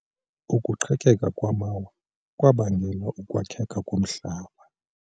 Ukuqhekeka kwamawa kwabangela ukwakheka komhlaba.